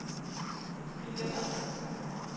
billetter